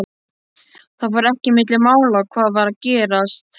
Það fór ekki milli mála hvað var að gerast.